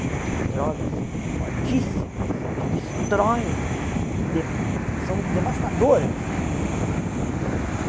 e outras drogas fortíssimas, que destroem, que de são devastadoras.